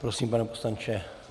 Prosím, pane poslanče.